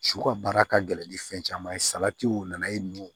Su ka baara ka gɛlɛn ni fɛn caman ye salatiw nana ye nɔ